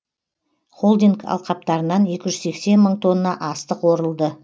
холдинг алқаптарынан екі жүз сексен мың тонна астық орылды